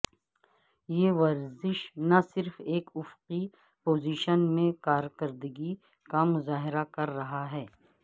یہ ورزش نہ صرف ایک افقی پوزیشن میں کارکردگی کا مظاہرہ کر رہا ہے